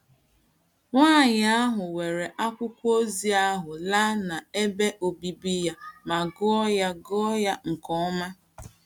Nwanyị ahụ were akwụkwọ ozi ahụ láà n’ebe òbìbì ya ma gụọ ya gụọ ya nke ọma.